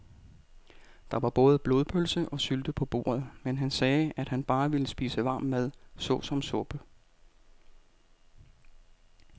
Der var både blodpølse og sylte på bordet, men han sagde, at han bare ville spise varm mad såsom suppe.